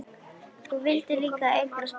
Þú vildir líka eignast barn.